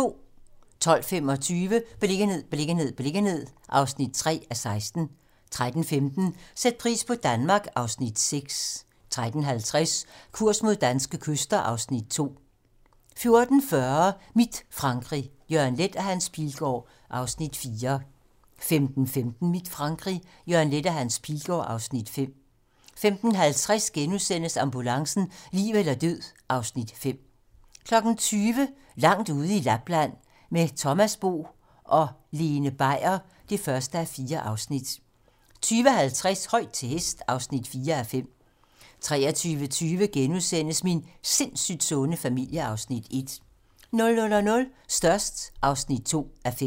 12:25: Beliggenhed, beliggenhed, beliggenhed (3:16) 13:15: Sæt pris på Danmark (Afs. 6) 13:50: Kurs mod danske kyster (Afs. 2) 14:40: Mit Frankrig - Jørgen Leth og Hans Pilgaard (Afs. 4) 15:15: Mit Frankrig - Jørgen Leth og Hans Pilgaard (Afs. 5) 15:50: Ambulancen - liv eller død (Afs. 5)* 20:00: Langt ude i Lapland - Med Thomas Bo og Lene Beier (1:4) 20:50: Højt til hest (4:5) 23:20: Min sindssygt sunde familie (Afs. 1)* 00:00: Størst (2:5)